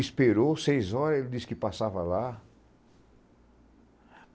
Esperou seis horas, ele disse que passava lá.